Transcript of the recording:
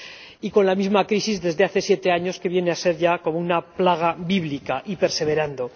Y con la misma crisis desde hace siete años, que viene a ser ya como una plaga bíblica, y perseverando.